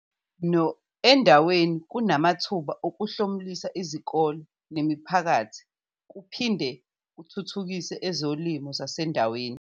.no endaweni kunamathuba okuhlomulisa izikole nemiphakathi kuphin de kuthuthukise ezolimo zasendaweni.